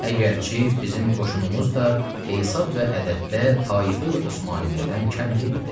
Əgərçi bizim qoşunumuz da hesab və ədəddə taife-i Osmaniyyədən kəm deyildi.